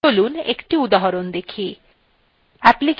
application> accessories